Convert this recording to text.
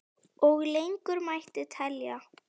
Og lengur mætti telja.